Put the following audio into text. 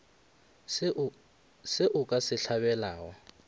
se o ka se hlabelago